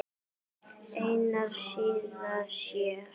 Einari, síðan sér.